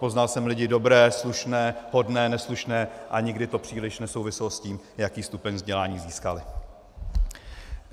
Poznal jsem lidi dobré, slušné, hodné, neslušné a nikdy to příliš nesouviselo s tím, jaký stupeň vzdělání získali.